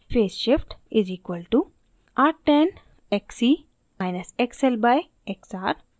phase shift φ = arctan xc – xl/xr